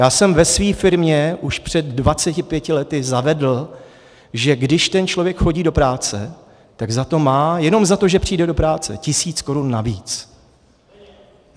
Já jsem ve své firmě už před 25 lety zavedl, že když ten člověk chodí do práce, tak za to má - jenom za to, že přijde do práce - tisíc korun navíc.